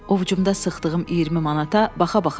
Ovcumda sıxdığım 20 manata baxa-baxa qaldım.